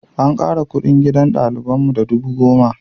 An ƙara kuɗin gidan ɗaliban mu da dubu goma.